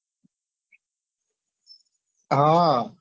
હા